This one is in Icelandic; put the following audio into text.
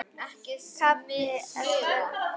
KAFLI ELLEFU